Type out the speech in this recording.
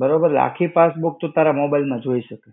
બરોબર, આખી passbook તું તારા mobile માં જોઈ શકે.